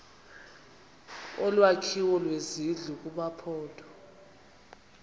olwakhiwo lwezindlu kumaphondo